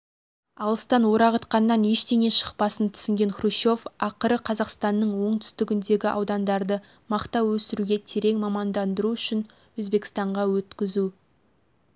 алыстан орағытқаннан ештеңе шықпасын түсінген хрущев ақыры қазақстанның оңтүстігіндегі аудандарды мақта өсіруге терең мамандандыру үшін өзбекстанға өткізу